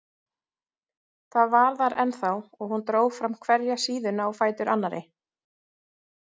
Það var þar ennþá og hún dró fram hverja síðuna á fætur annarri.